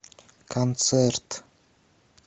концерт